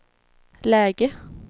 läge